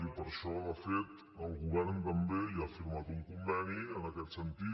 i per això de fet el govern també ja ha firmat un conveni en aquest sentit